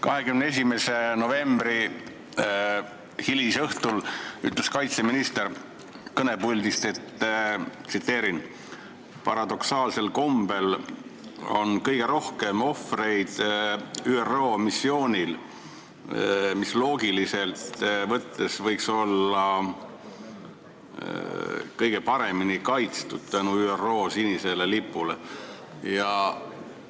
21. novembri hilisõhtul ütles kaitseminister sellest kõnepuldist: "Paradoksaalsel kombel on kõige rohkem ohvreid ÜRO missioonil, mis loogiliselt võttes võiks olla kõige paremini kaitstud tänu ÜRO sinisele lipule ja üllale mandaadile.